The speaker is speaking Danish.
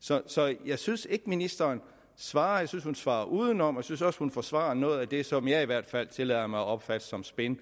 så så jeg synes ikke ministeren svarer jeg synes hun svarer udenom jeg synes også hun forsvarer noget af det som jeg i hvert fald tillader mig at opfatte som spin